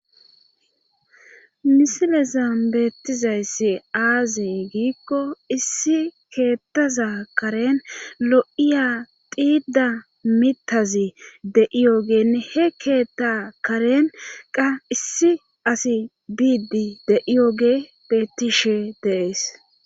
Misilezan beettizayssi aazey giikko issi keettaza karen lo'iya diida mitazi deiyogenne he keetta karen qa issi asi biidi de7iyooge bettishe deees.